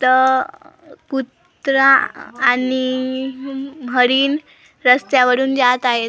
कुत्रा आणि हरिण रस्त्यावरून जात आहेत.